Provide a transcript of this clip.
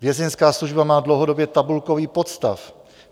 Vězeňská služba má dlouhodobě tabulkový podstav.